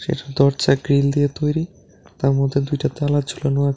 এর দরজা গ্রিল দিয়ে তৈরি তার মধ্যে দুটা তালা ঝুলানো আছে।